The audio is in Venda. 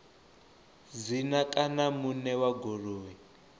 dzina kana muṋe wa goloi